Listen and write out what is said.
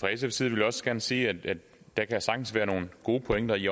fra sfs side vil jeg også gerne sige at der sagtens kan være nogle gode pointer i